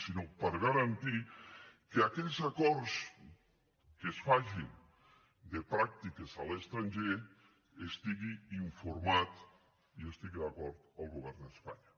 sinó per garantir que d’aquells acords que es facin de pràctiques a l’estranger n’estigui informat i hi estigui d’acord el govern d’espanya